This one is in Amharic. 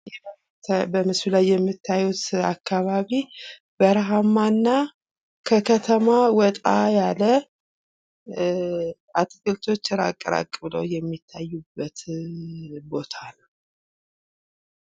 በምስሉ ላይ የምታዩት አከባቢ በረሃማና ከከተማ ወጣ ያለ እ አትክልቶች እራቅ እራቅ ብለው የሚታዩበት ቦታ ነው።